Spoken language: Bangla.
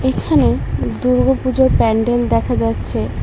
এখানে দুর্গপুজোর প্যান্ডেল দেখা যাচ্ছে।